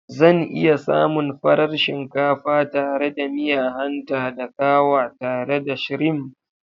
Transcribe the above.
Zan iya samun farar shinkafa tare da miya hanta da kawa tare da shrimf?